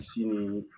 Misi ni